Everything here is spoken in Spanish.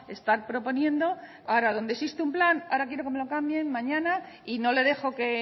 estar proponiendo ahora donde existe un plan ahora quiero que me lo cambien mañana y no le dejo que